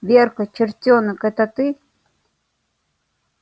верка чертёнок это ты